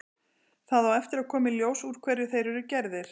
Það á eftir að koma í ljós úr hverju þeir eru gerðir.